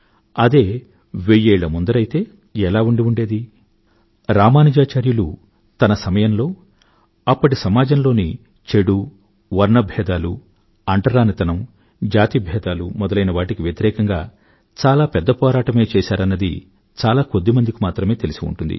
అదే వెయ్యేళ్ల ముందరైతే ఎలా ఉండి ఉండేది రామానుజాచార్యులు తన సమయంలో అప్పటి సమాజంలోని చెడు వర్ణభేదాలూ అంటరానితనం జాతి భేదాలు మొదలైనవాటికి వ్యతిరేకంగా చాలా పెద్ద పోరాటమే చేసారన్నది చాలాకొద్ది మందికి మాత్రమే తెలిసి ఉంటుంది